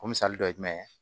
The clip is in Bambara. O misali dɔ ye jumɛn ye